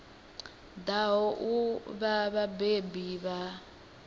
ḓaho u vha vhabebi vha